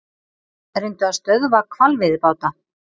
Reyndu að stöðva hvalveiðibáta